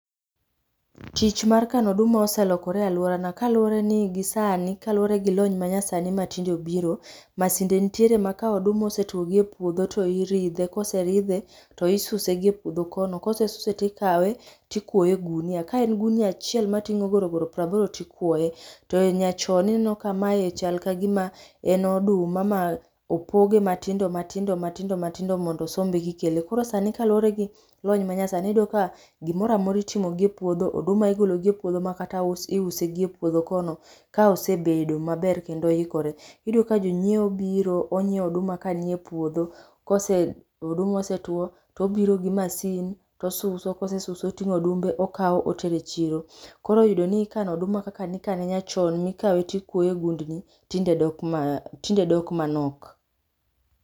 Tich mar kano oduma oselokore e aluorana kaluwore ni gisani, kaluwore gi gi lony manyasani ma tinde obiro, masinde nitie ma oduma kosetuo gie puodho to iridhe, ka oseridhe to isuse gi epuodho kono, kosesuse tikawe to ikwoye e gunia. Ka en ogunia achiel mating'o goro goro piero aboro to ikwoye. To nyachon ineno ka mae chal ka gima en oduma ma opoge matindo, matindo, matindo mondo osombe ka ikele. Koro ka luwore gi lony ma nyasani, gimoro amora itimo gie puodho. Oduma igolo gie puodho, makata us iuse gie puodho kono ka osebedo maber kendo oikore. Iyudo ka jonyiewo biro onyiewo oduma ka nie puodho. Ka oduma osetuo to obiro gi masin to osuso, ka osesuso to odumbe okawo otero e chiro. Koro iyudo ni kano oduma kaka ne ikane nyachon, mane ikawe to ikwoye e gundni tinde dok malo tinde dok manok.